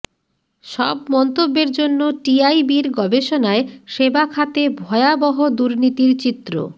সব মন্তব্যের জন্য টিআইবির গবেষণায় সেবাখাতে ভয়াবহ দুর্নীতির চিত্র